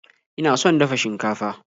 Ina son dafa shinkafa.